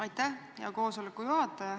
Aitäh, hea istungi juhataja!